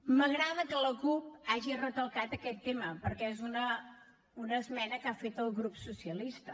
m’agrada que la cup hagi recalcat aquest tema perquè és una esmena que ha fet el grup socialista